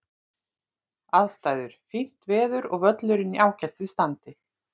Aðstæður: Fínt veður og völlurinn í ágætis standi.